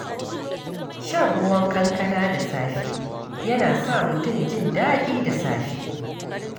Shan ruwan kankana da safe yana sa mutum jin daɗi da safe.